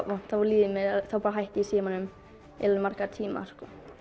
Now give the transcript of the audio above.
vont þá bara hætti ég í símanum í marga tíma